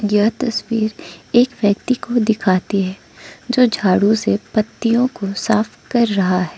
यह तस्वीर एक व्यक्ति को दिखाती है जो झाड़ू से पत्तियां को साफ कर रहा है।